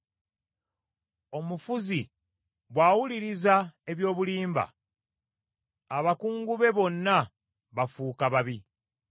Omufuzi bw’awuliriza eby’obulimba, abakungu be bonna bafuuka babi.